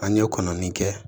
An ye kɔnɔnin kɛ